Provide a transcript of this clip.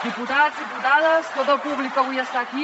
diputats diputades tot el públic que avui està aquí